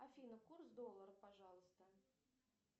афина курс доллара пожалуйста